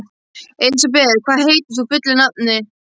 Elisabeth, hvað heitir þú fullu nafni?